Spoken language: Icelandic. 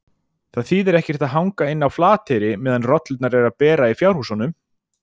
Það þýðir ekkert að hanga inni á Flateyri meðan rollurnar eru að bera í fjárhúsunum!